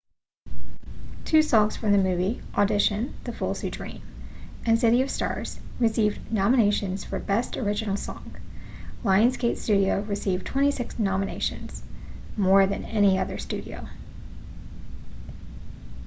two songs from the movie audition the fools who dream and city of stars received nominations for best original song. lionsgate studio received 26 nominations — more than any other studio